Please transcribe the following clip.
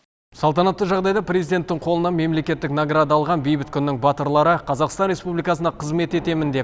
салтанатты жағдайда президентің қолынан мемлекеттік награда алған бейбіт күннің батырлары қазақстан республикасына қызмет етемін деп